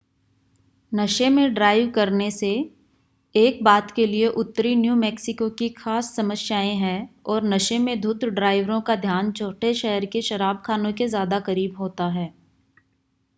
नशे में ड्राइव करने से एक बात के लिए उत्तरी न्यू मैक्सिको की ख़ास समस्याएं हैं और नशे में धुत ड्राइवरों का ध्यान छोटे शहर के शराबख़ानों के ज़्यादा क़रीब होता है